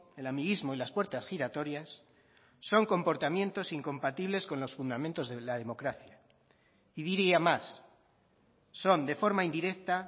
el amiguismo y las puertas giratorias son comportamientos incompatibles con los fundamentos de la democracia y diría más son de forma indirecta